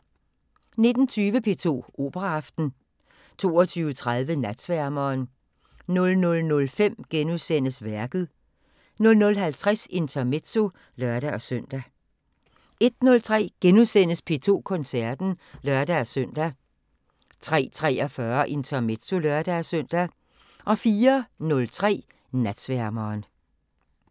19:20: P2 Operaaften 22:30: Natsværmeren 00:05: Værket * 00:50: Intermezzo (lør-søn) 01:03: P2 Koncerten *(lør-søn) 03:43: Intermezzo (lør-søn) 04:03: Natsværmeren